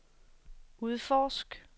udforsk